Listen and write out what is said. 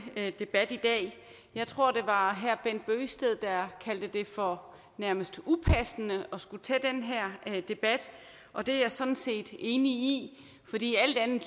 debat i dag jeg tror det var herre bent bøgsted der kaldte det for nærmest upassende at skulle tage den her debat og det er jeg sådan set enig